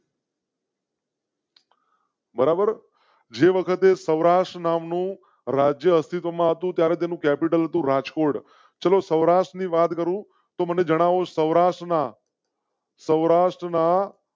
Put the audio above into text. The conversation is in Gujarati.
બરાબર જે વખતે સૌરાષ્ટ્ર નામનું રાજ્ય અસ્તિત્વમાં હતું ત્યારે નું કૅપિટલ તો રાજકોટ ચલો સૌરાષ્ટ્ર ની વાત કરૂ તો મને જણાવો સૌરાષ્ટ્ર ના. સૌરાષ્ટ્ર ના.